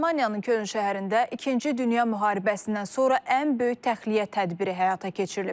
Almaniyanın Köln şəhərində ikinci dünya müharibəsindən sonra ən böyük təxliyə tədbiri həyata keçirilib.